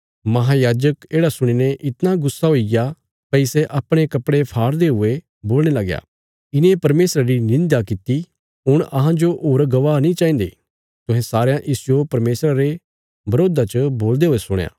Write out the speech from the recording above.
महायाजक येढ़ा सुणी ने इतणा गुस्सा हुईग्या भई सै अपणे कपड़े फाड़दे हुये बोलणे लगया इने परमेशरा री निंध्या किति हुण अहांजो होर गवाह नीं चाहिन्दे तुहें सारयां इसजो परमेशरा रे बरोधा च बोलदे हुये सुणया